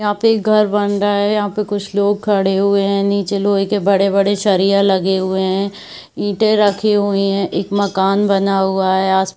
यहाँ पे एक घर बन रहा है यहाँ पे कुछ लोग खड़े हुए है नीचे लोहे के बड़े-बड़े सरिया लगे हुए है ईंटे रखी हुई है एक मकान बना हुआ है आस--